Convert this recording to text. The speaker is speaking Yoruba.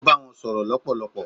ó bá wọn sọ̀rọ̀ lọpọlọpọ